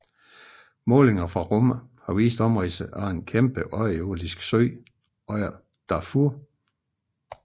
Målinger fra rummet har vist omridset af en enorm underjordisk sø under Darfur